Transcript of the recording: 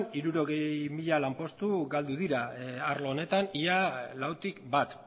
hirurogei mila lanpostu galdu dira arlo honetan ia lautik bat